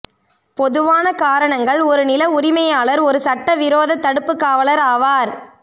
பொதுவான காரணங்கள் ஒரு நில உரிமையாளர் ஒரு சட்டவிரோத தடுப்புக்காவலர் ஆவார்